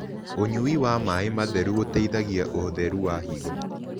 Ũnyĩ wa mae matherũ ũteĩthagĩa ũtherũ wa hĩgo